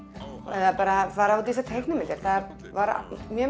eða bara fara út í þessar teiknimyndir það var mjög